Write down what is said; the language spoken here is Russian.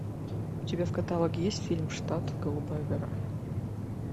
у тебя в каталоге есть фильм штат голубая гора